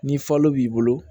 Ni falo b'i bolo